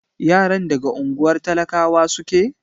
Yaran daga unguwar talakawa suke?